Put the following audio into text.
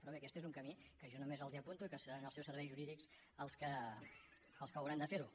però bé aquest és un camí que jo només els apunto i que hauran de ser els seus serveis jurídics els que hauran de fer ho